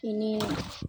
I ni